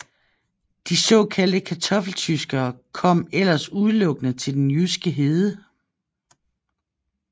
De såkaldte Kartoffeltyskere kom ellers udelukkende til den jyske hede